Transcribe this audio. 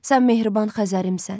Sən mehriban Xəzərimsən.